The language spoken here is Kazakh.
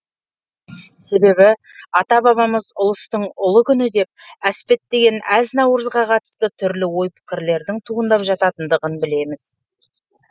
себебі ата бабамыз ұлыстың ұлы күні деп әспеттеген әз наурызға қатысты түрлі ой пікірлердің туындап жататындығын білеміз